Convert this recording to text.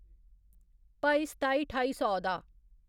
भाई सताई ठाई सौ दा